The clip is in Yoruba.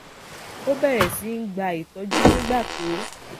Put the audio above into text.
ó bèrè sí í gba ìtójú nígbà tó